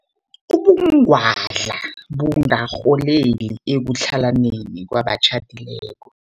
Ubungwadla bungarholela ekutlhalaneni kwabatjhadileko.